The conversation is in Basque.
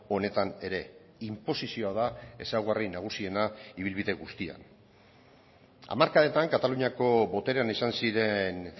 honetan ere inposizioa da ezaugarri nagusiena ibilbide guztian hamarkadetan kataluniako boterean izan ziren